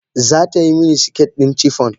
Za ta yi mini siket ɗin chiffon.